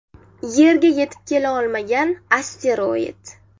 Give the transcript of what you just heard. Yerga yetib kela olmagan asteroid.